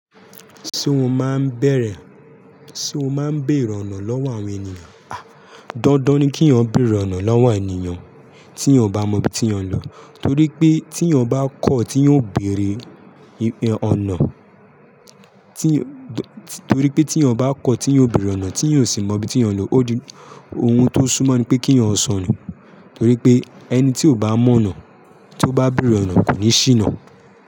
Ṣé o máa ń bèèrè ọ̀nà lọ́wọ́ àwọn ènìyàn? Dandan ni kí eyan ó bèèrè ọ̀nà lọ́wọ́ ènìyàn, tí eyan ò bá mọ ibi tí eyan ń lọ. Torí pé tí eyan bá kọ̀ tí eyan ò béèrè ọ̀nà, tí eyan ò sì mọ ibi tí eyan ń lọ, oun tó sún mọ́ ní pé kí eyan ó sọnù. Torí pé ẹni tí ò bá mọ ọ̀nà, tó bá bèèrè ọ̀nà kò ní ṣìná.